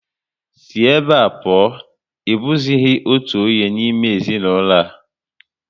Sí ebe a pụọ! Ị bụghịzi otu onye n'ime ezinaụlọ a